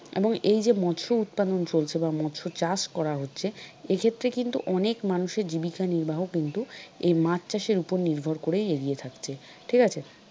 এবং এইযে মৎস্য উৎপাদন চলছে বা মৎস্য চাষ করা হচ্ছে এক্ষেত্রে কিন্তু অনেক মানুষের জীবিকা নির্বাহ কিন্তু এই মাছ চাষের উপর নির্ভর করে এগিয়ে থাকছে ঠিক আছে?